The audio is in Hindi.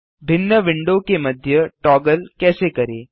भिन्न विंडो के मध्य टॉगल कैसे करें